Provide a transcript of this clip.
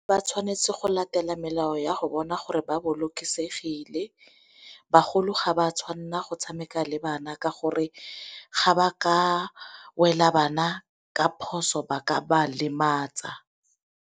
Ba tshwanetse go latela melao ya go bona gore ba bolokesegile. Bagolo ga ba tshwanela go tshameka le bana ka gonne ga ba ka wela bana ka phoso ba ka ba lematsa.